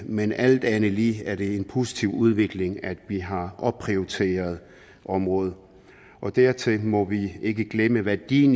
men alt andet lige er det en positiv udvikling at vi har opprioriteret området dertil må vi ikke glemme værdien